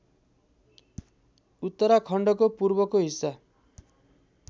उत्तराखण्डको पूर्वको हिस्सा